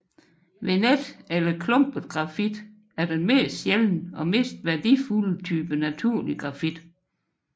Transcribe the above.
Venet eller klumpet grafit er den mest sjældne og mest værdifulde type naturlig grafit